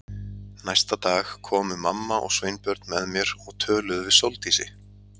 Næsta dag komu mamma og Sveinbjörn með mér og töluðu við Sóldísi.